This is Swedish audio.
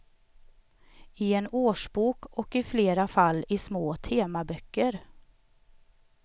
I en årsbok och i flera fall i små temaböcker.